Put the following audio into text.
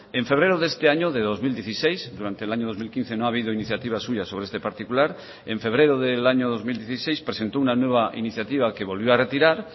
en febrero de este año de dos mil dieciséis durante el año dos mil quince no ha habido iniciativas suyas sobre este particular en febrero del año dos mil dieciséis presentó una nueva iniciativa que volvió a retirar